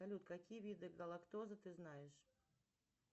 салют какие виды галактозы ты знаешь